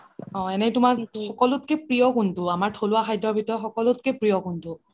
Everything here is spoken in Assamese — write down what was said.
এনে তুমাৰ সকলোত কে প্ৰিয় কোনটো আমাৰ থলুৱা খাদ্যৰ ভিতৰত সকলোত কে প্ৰিয় কোনটো